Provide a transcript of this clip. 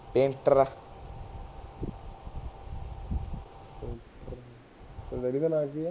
ਤੇਰੇ ਦਾ ਨਾਂਅ ਕਿ ਐ